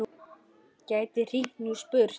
Gæti hringt núna og spurt.